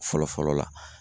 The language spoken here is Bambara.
Fɔlɔ fɔlɔ la